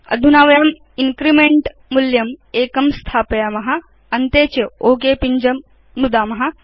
अधुना वयं इन्क्रीमेंट मूल्यं एकं स्थापयाम अन्ते च ओक पिञ्जं नुदाम